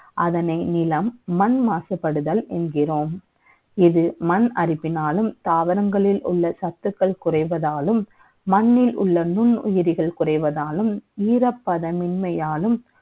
அதனை நிலம் மண் மாசுபடுதல் என்கிறோம் இதில் மண் அரிப்பினாலும் தாவரங்களில் உள்ள சத்துக்கள் குறைவதாலும் மண்ணில் உள்ள நுண்ணுயிரி குறைவதாலும் ஈரப்பதம் மென்மையாலும்